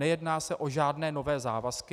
Nejedná se o žádné nové závazky.